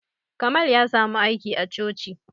Kamal ya samu aiki a coci